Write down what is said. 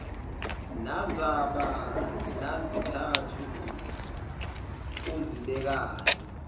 nazaba nazizathu ozibekayo